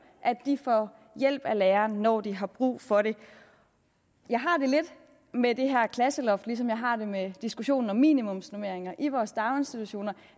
at de får hjælp af læreren når de har brug for det jeg har det lidt med det her klasseloft ligesom jeg har det med diskussionen om minimumsnormeringer i vores daginstitutioner